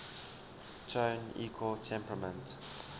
tone equal temperament